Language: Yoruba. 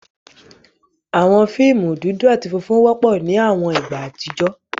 Awọn fiimu dudu ati funfun wọpọ ni awọn igba atijọ